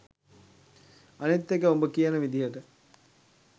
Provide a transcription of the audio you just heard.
අනිත් එක උඹ කියන විදියට